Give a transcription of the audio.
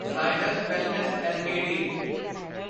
Zydus Wellness LTD